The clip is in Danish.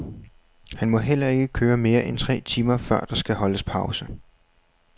Han må heller ikke køre mere end tre timer før der skal holdes pause.